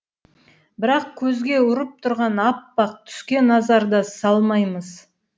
бірақ көзге ұрып тұрған аппақ түске назар да салмаймыз